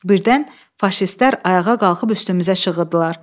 Birdən faşistlər ayağa qalxıb üstümüzə şığıdılar.